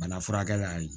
Bana furakɛ la